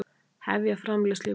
Hefja framleiðslu í vor